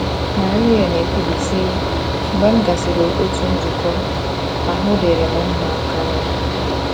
Marie na - ekwubi, sị: “ Mgbe m gasịrị otu nzukọ, ahụ́ dịrị m mma karị.